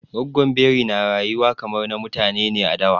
Gwaggon Biri na rayuwa kamar na mutane ne a dawa.